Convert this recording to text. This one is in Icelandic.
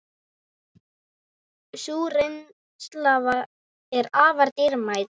Sú reynsla er afar dýrmæt.